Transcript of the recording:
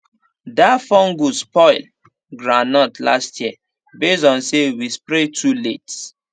that fungus spoil groundnut last year base on say we spray too late